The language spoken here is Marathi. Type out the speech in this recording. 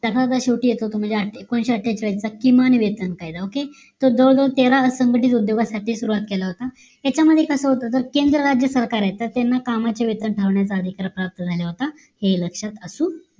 कि किमान एकोणीशे अट्ठेचाळीस किमान कायदा वेतन तो जवळ जवळ तेरा असबंदीत उद्योगासाठी तयार केला होता याच्यामध्येंकास होत की कि केंद्र सरकार आहे तर त्यांना कामाच्या वेतन लावण्याचा अधिकार प्राप्त झाला होता हे लक्ष्यात असु द्या